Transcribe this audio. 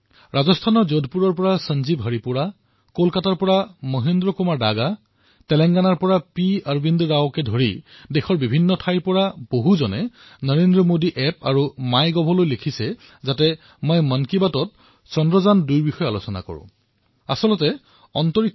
ৰাজস্থানৰ যোধপুৰ সঞ্জীৱ হৰিপুৰা কলকাতাৰ মহেন্দ্ৰ কুমাৰ দাগা তেলেংগানাৰ অৰৱিন্দ ৰাও এনে বহুকেইজন ব্যক্তিয়ে মোক নৰেন্দ্ৰ মোদী এপ আৰু মাই গভত লিখিছে আৰু তেওঁলোকে মন কী বাতত চন্দ্ৰায়ন২ৰ বিষয়ে আলোচনা কৰিবলৈ আগ্ৰহ প্ৰকাশ কৰিছে